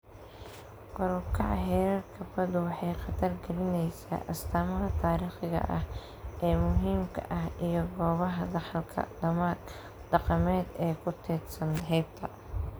Kor u kaca heerarka baddu waxay khatar gelinaysaa astaamaha taariikhiga ah ee muhiimka ah iyo goobaha dhaxalka dhaqameed ee ku teedsan xeebta.